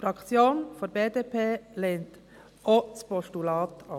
Die Fraktion der BDP lehnt auch das Postulat ab.